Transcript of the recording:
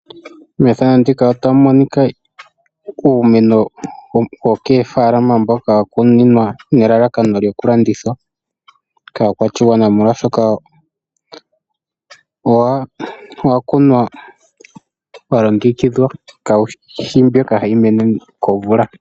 Mefano ndika otamu monika uumeno wokoofalama mboka wa kunwa nelalakano lyoku landithwa kaa kwashigwana. Molwashoka owa kunwa wa longekidhwa kawushi mboka hawu mene komvula.